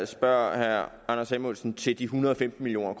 spørger herre anders samuelsen til de en hundrede og femten million